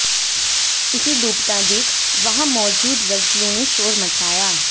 उसे डूबता देख वहां मौजूद लड़कियों ने शोर मचाया